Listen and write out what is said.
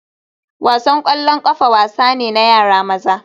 Wasan ƙwallon ƙafa wasa ne na yara maza